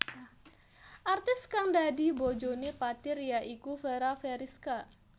Artis kang dadi bojoné Fathir ya iku Fera Feriska